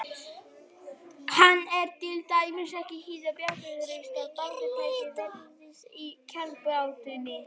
Hann er til dæmis ekki hið bjargtrausta baráttutæki verkalýðsins í kjarabaráttunni.